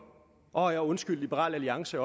og undskyld liberal alliance